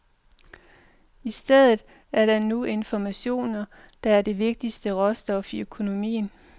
I stedet er det nu informationer, der er det vigtigste råstof i økonomien.